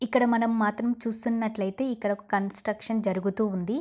ఇక్కడ మనం మాత్రం చూస్తున్నట్టయితేఇక్కడ ఒక కన్స్ట్రక్షన్ జరుగుతూ ఉంది.